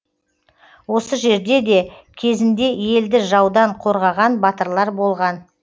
осы жерде де кезінде елді жаудан қорғаған батырлар болған